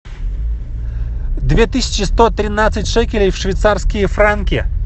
две тысячи сто тринадцать шекелей в швейцарские франки